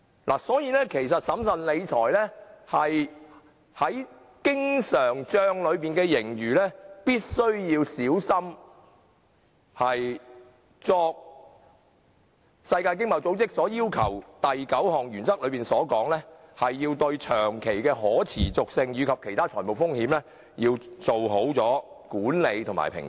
因此，審慎理財是必須小心謹慎，令經常帳內的盈餘達致經濟合作與發展組織所訂第九項原則的要求，即對長期的可持續及其他財務風險作好管理和評估。